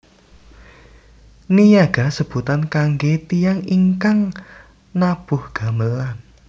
Niyaga sebutan kangge tiyang ingkang nabuh gamelan